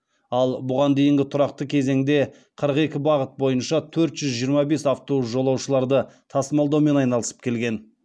ал бұған дейінгі тұрақты кезеңде қырық екі бағыт бойынша төрт жүз жиырма бес автобус жолаушыларды тасымалдаумен айналысып келген